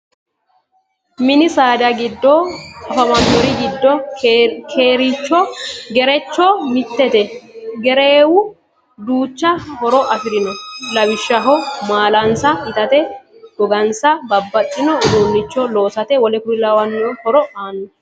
Mini saada giddo afamanori giddo kerecho mittete. Kereewu duucha horo afirino. Lawishshaho maalansa itate, goginsanni babbaxino uduunicho loosate w.k.l horo aanno.